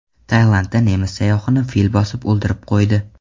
Tailandda nemis sayyohini fil bosib o‘ldirib qo‘ydi.